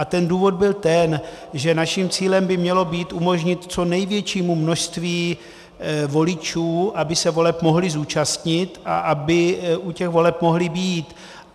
A ten důvod byl ten, že naším cílem by mělo být umožnit co největšímu množství voličů, aby se voleb mohli zúčastnit a aby u těch voleb mohli být.